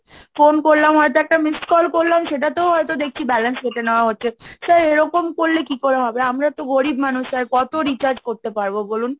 phone করলাম, হয়তো একটা Missed call করলাম, সেটাতেও হয়তো দেখছি balance কেটে নেওয়া হচ্ছে, sir এরকম করলে কি করে হবে? আমরা তো গরীব মানুষ sir, কত Recharge করতে পারবো বলুন।